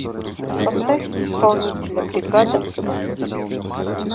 поставь исполнителя бригада с